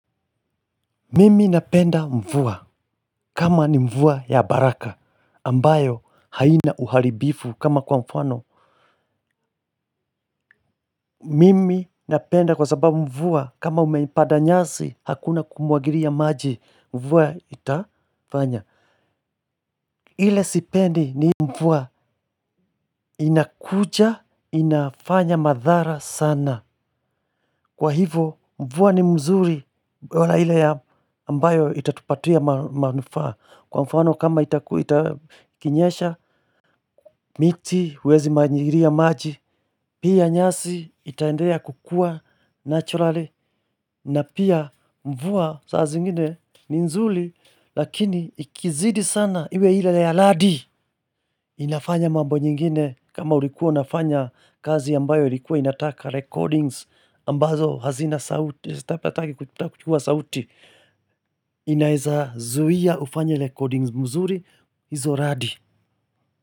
Mimi napenda mvua kama ni mvua ya baraka ambayo haina uharibifu kama kwa mfano. Mimi napenda kwa sababu mvua kama umeipanda nyasi hakuna kumwagilia maji mvua itafanya. Ile sipendi ni hii mvua inakuja inafanya madhara sana. Kwa hivyo mvua ni mzuri bora ile ambayo itatupatia manufaa. Kwa mfano kama ikinyesha miti huwezi mwagilia maji, pia nyasi itaendelea kukua naturally. Na pia mvua saa zingine ni nzuri lakini ikizidi sana iwe ile ya radi inafanya mambo nyingine kama ulikuwa unafanya kazi ambayo ilikuwa inataka recordings ambazo hazina sauti hutaki kuchukua sauti inaweza zuia ufanye recordings mzuri hizo radi.